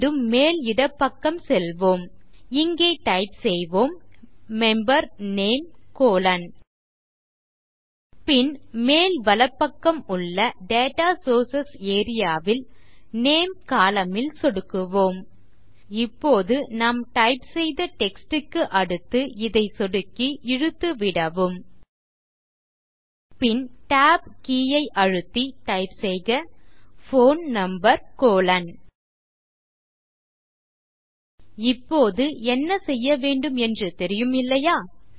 மீண்டும் மேல் இடப்பக்கம் செல்வோம் இங்கே டைப் செய்வோம் மெம்பர் நேம் கோலோன் பின் மேல் வலப்பக்கம் உள்ள டேட்டா சோர்சஸ் ஏரியா ல் நேம் கோலம்ன் ல் சொடுக்குவோம் இப்போது நாம் டைப் செய்த டெக்ஸ்ட் க்கு அடுத்து இதை சொடுக்கி இழுத்து விடவும் பின் tab கே ஐ அழுத்தி டைப் செய்க போன் நம்பர் கோலோன் இப்போது என்ன செய்யவேண்டும் என்று தெரியும் இல்லையா